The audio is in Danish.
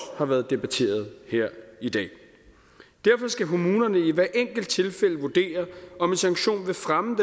har været debatteret her i dag derfor skal kommunerne i hvert enkelt tilfælde vurdere om en sanktion vil fremme